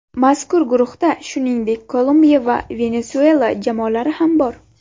Mazkur guruhda, shuningdek, Kolumbiya va Venesuela jamoalari ham bor.